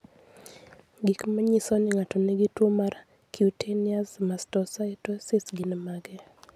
Gik manyiso ni ng'ato nigi tuo mar Cutaneous mastocytosis gin mage?